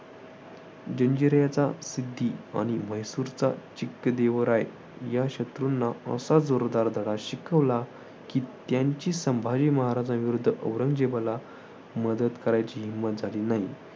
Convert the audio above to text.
जंजिऱ्याचा सिद्दी आणि म्हैसूरचा चिक्कदेवराय या शत्रूंना असा जोरदार धडा शिकवला की त्यांची संभाजी महाराजांविरुद्ध औरंगजेबाला मदत करायची हिंमत झाली नाही.